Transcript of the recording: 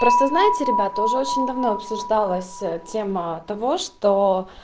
просто знаете ребята уже очень давно обсуждалась тема того что